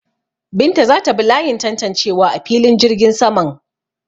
Binta za ta bi layin tantancewa a filin jirgin saman.